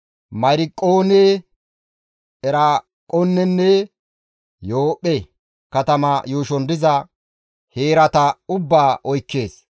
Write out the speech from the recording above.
Meyarqqoone, Eraaqoonenne Yoophphe katama yuushon diza heerata ubbaa oykkees.